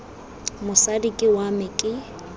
mosadi ke wa me ke